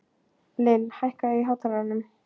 Lill, hækkaðu í hátalaranum.